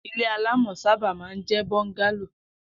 ilé alamò̩ sábà máa ń jé̩ bọ́ńgálò